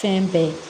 Fɛn bɛɛ ye